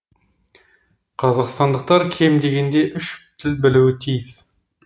қазақстандықтар кем дегенде үш тіл білуі тиіс